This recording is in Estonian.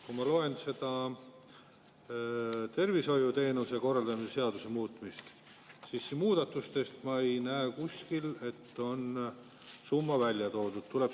Kui ma loen tervishoiuteenuste korraldamise seaduse muudatust, siis ma ei näe kuskil, et oleks summa välja toodud.